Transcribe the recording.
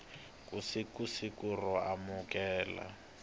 ku suka siku ro amukela